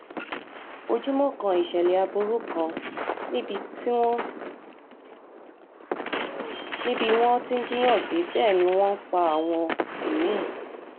ojúmọ́ kan ìṣẹ̀lẹ̀ aburú kan ni bí wọ́n ti ń jiyàn gbé bẹ́ẹ̀ ni wọ́n ń pa àwọn mí-ín